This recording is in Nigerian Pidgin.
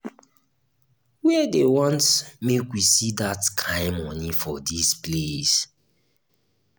where dey want make we see dat kin money for dis place